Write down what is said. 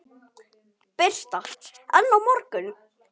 Birta: En á morgun?